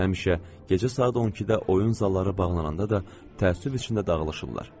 Həmişə gecə saat 12-də oyun zalları bağlananda da təəssüf içində dağılışırdılar.